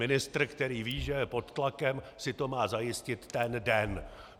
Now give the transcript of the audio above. Ministr, který ví, že je pod tlakem, si to má zajistit ten den.